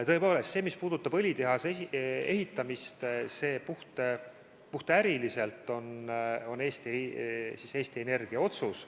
Tõepoolest, see, mis puudutab õlitehase ehitamist, on puhtäriliselt Eesti Energia otsus.